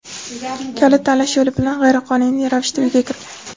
kalit tanlash yo‘li bilan g‘ayriqonuniy ravishda uyga kirgan.